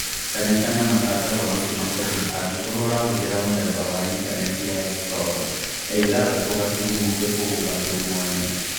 Kanyakanya matangatho macio makũhĩ angĩkorwo ũrahũthĩra mũthemba wa intanenti ya explorer ya ithathatũ gaturumo kĩfũgũ gaturumo ĩmwe